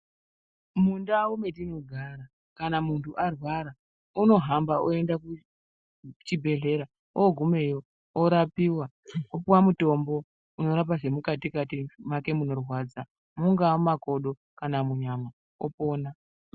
Mundau matinogara kana mundu arwara anohamba oenda kuchibhedhlera ogumeyo orapiwa opuwe mutombo unorapa zvemukati kati make munorwadza mungawa makodo kana munyama opona.